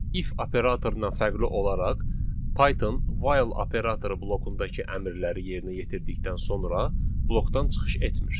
If operatorundan fərqli olaraq, Python while operatoru blokundakı əmrləri yerinə yetirdikdən sonra blokdan çıxış etmir.